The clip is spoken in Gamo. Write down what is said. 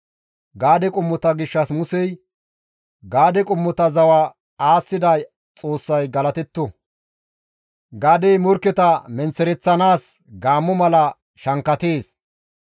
Gaade qommota gishshas Musey, «Gaade qommota zawa aassida Xoossay galatetto; Gaadey morkketa menththereththanaas gaammo mala shankkatees.